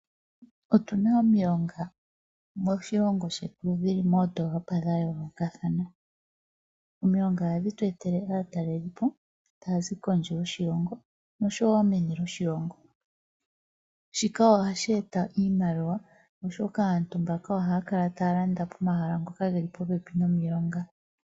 Otuna omilonga moondolopa dhetu dha yoolokothana. Ohadhi tu etele aatelipo okuza kondje yoshilongo nenege meni lyoshilongo komukalo gwatya ngeyi ohashi eta iimaliwa moshilongo oshoka aantu mboka ohaya kala taya landa iikulya pehala mpoka